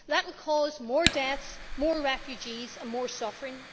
That will cause more deaths, more refugees and more suffering.